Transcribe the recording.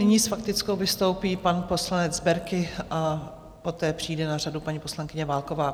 Nyní s faktickou vystoupí pan poslanec Berki a poté přijde na řadu paní poslankyně Válková.